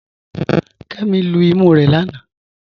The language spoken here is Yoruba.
Kẹmi lú ìmú rẹ̀ lánà.